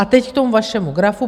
A teď k tomu vašemu grafu.